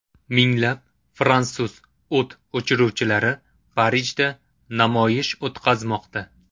Minglab fransuz o‘t o‘chiruvchilari Parijda namoyish o‘tkazmoqda.